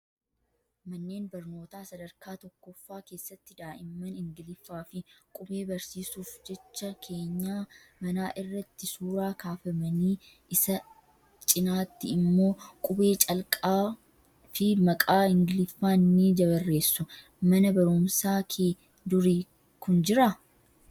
Manneen barnootaa sadarkaa tokkoffaa keessatti daa'imman ingiliffaa fi qubee barsiisuuf jecha keenyaa manaa irratti suuraa kaafamanii isa cinaatti immoo qubee calqaa fi maqaa ingiliffaan ni barreessu. Mana barumsaa kee durii kun jiraa?